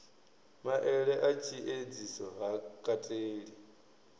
maele a tshiedziso ha kateli